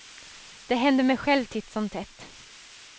Det händer mig själv titt som tätt.